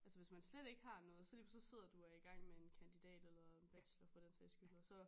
Altså hvis man slet ikke har noget så lige pludselig så sidder du og er i gang med en kandidat eller en bachelor for den sags skyld og så